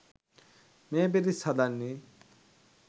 මේ පිරිස් හදන්නේ.